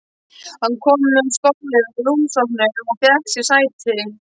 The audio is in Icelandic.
Hann kom með stólinn að rúmstokknum og fékk sér sæti.